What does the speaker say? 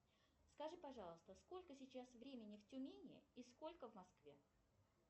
скажи пожалуйста сколько сейчас времени в тюмени и сколько в москве